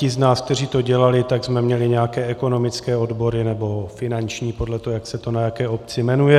Ti z nás, kteří to dělali, tak jsme měli nějaké ekonomické odbory nebo finanční, podle toho, jak se to na jaké obci jmenuje.